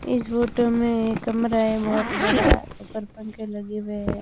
इस फोटो में एक कमरा है बहोत बड़ा ऊपर पंखे लगे हुए हैं।